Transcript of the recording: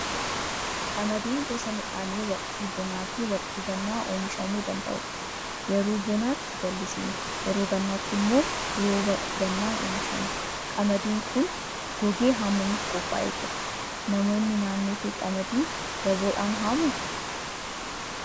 Qamadiin gosa midhaanii waqtii bonaa fi waqtii gannaa oomishamuu danda'udha. Yeroo bonaatti jallisiin, yeroo gannaatti immoo rooba gannaan oomishama. Qamadiin kun gogee haamamuuf qophaa'ee jira. Namoonni naannoo kee qamadii daboodhaan haamuu?